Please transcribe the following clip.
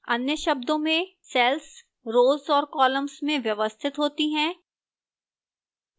अन्य शब्दों में cells rows और columns में व्यवस्थित होती हैं